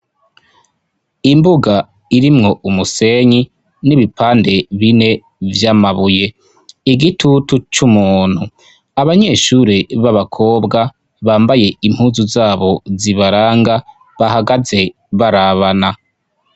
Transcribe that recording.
Imbuga irimwo umusenyi n'ibipande bine vy'amabuye igitutu c'umuntu abanyeshure b'abakobwa bambaye impuzu zabo zibaranga bahagaze barabana.